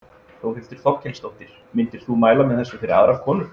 Þórhildur Þorkelsdóttir: Myndir þú mæla með þessu fyrir aðrar konur?